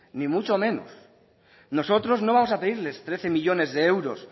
ni mucho menos nosotros no vamos a pedirles trece millónes de euros